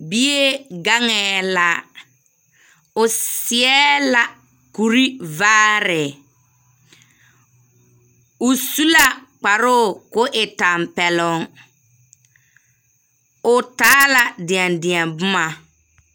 Bie gaŋԑԑ la, oseԑ la kuri vaare, o su la kparoo koo e tampԑloŋ. O taa la deԑdeԑ boma.